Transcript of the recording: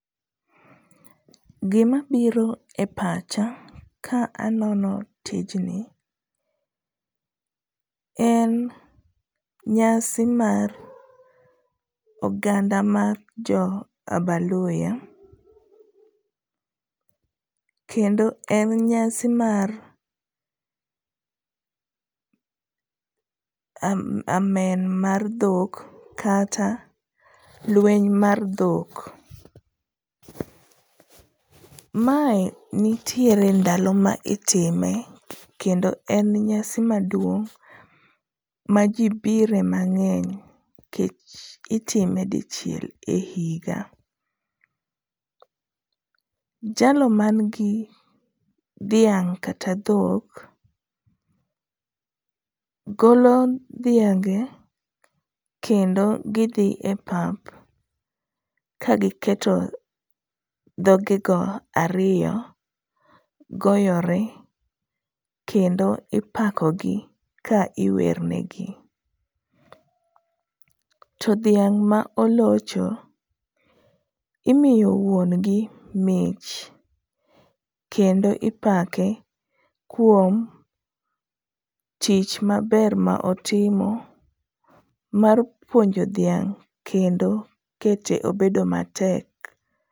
Gimabiro e pacha ka anono tijni en nyasi mar oganda mar jo abaluhya kendo en nyasi mar amen mar dhok kata lweny mar dhok, mae nitiere ndalo ma itime kendo en nyasi maduong' ma jibire mang'eny nikech itime dichiel e higa. Jalo manigi dhiang' kata dhok, golo dhiange kendo gidhi epap ka giketo dhogigo ariyo goyore kendo ipakogi ka iwernegi. To dhiang' ma olocho, imiyo wuon gi mich kendo ipake kuom tich maber ma otimo mar puonjo dhiang' kendo kete obedo matek.